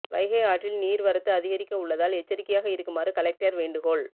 வைகை ஆற்றில் நீர் வரத்து அதிகரிக்க உள்ளதால் எச்சரிக்கையாக இருக்குமாறு கலெக்டர் வேண்டுகோள்